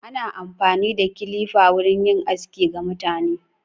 Ana amfani da kilifa wurin yin aski ga mutane.